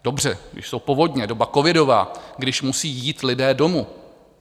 Dobře, když jsou povodně, doba covidová, když musí jít lidé domů.